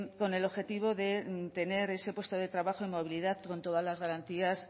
con el objetivo de tener ese puesto de trabajo y movilidad con todas las garantías